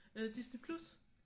Øh Disney+